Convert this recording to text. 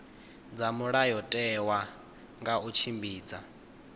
dza mulayotewa nga u tshimbidza